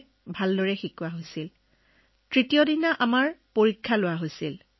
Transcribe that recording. অৰ্থাৎ প্ৰথমে পাঠদান অনুষ্ঠিত হৈছিল তাৰ পিছত পৰীক্ষা দিয়া হৈছিল